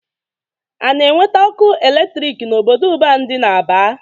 A na-eweta ọkụ eletrik n'obodo ọban dị n'Aba?